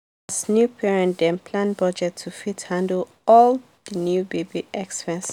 new parents dem plan budget to fit handle all the new baby expenses.